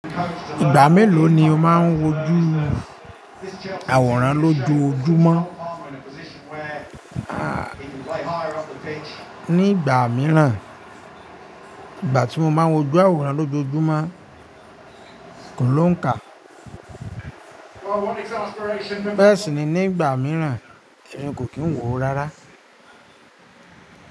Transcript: Ìgbà mélòó ni ò máa ń wò ojú àwòrán lójojúmọ́? Aah ní ìgbà mìíràn, ìgbà tí mo máa ń wo ojú àwòrán lójojúmọ́ kò lóǹkà. Bẹ̀èsì ni ní ìgbà mìíràn, ẹmi kò kí ń wò ó rárá.